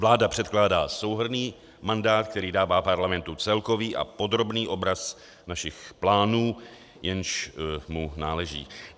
Vláda předkládá souhrnný mandát, který dává Parlamentu celkový a podrobný obraz našich plánů, jenž mu náleží.